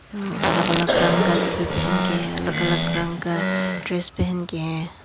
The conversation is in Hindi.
अलग अलग रंग का टोपी पहन के अलग अलग रंग का ड्रेस पहन के हैं।